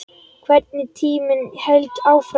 Hvernig tíminn hélt áfram.